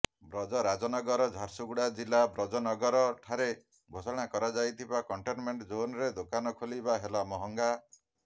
ବ୍ରଜରାଜନଗର ଝାରସୁଗୁଡ଼ା ଜିଲ୍ଲା ବ୍ରଜରାଜନଗର ଠାରେ ଘୋଷଣା କରାଯାଇଥିବା କଣ୍ଟେନମେଣ୍ଟ ଜୋନରେ ଦୋକାନ ଖୋଲିବା ହେଲା ମହଙ୍ଗା